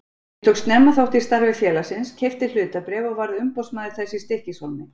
Ég tók snemma þátt í starfi félagsins, keypti hlutabréf og varð umboðsmaður þess í Stykkishólmi.